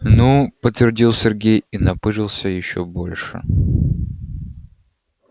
ну подтвердил сергей и напыжился ещё больше